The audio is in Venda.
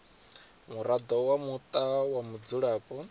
muraḓo wa muṱa wa mudzulapo